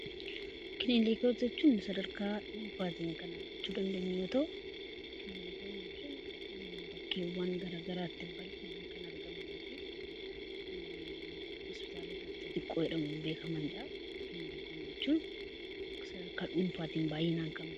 Kilinika jechuun sadarkaa dhuunfaatiin kan argachuu dandeenyu yoo ta'u, kilinika jechuun bakkeewwan gara garaatti bal'inaan kan argamanii fi hospitaalota xixiqqoon beekamanidha. Kilinika jechuun sadarkaa dhuunfaatiin baay'inaan kan beekamanidha.